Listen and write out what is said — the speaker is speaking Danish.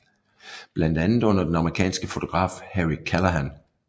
Blandt andet under den amerikanske fotograf Harry Callahan